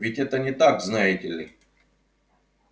ведь это не так знаете ли